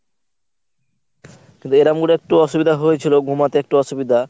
কিন্তু এরাম করে একটু অসুবিধা হয়েছিল ঘুমাতে একটু অসুবিধা।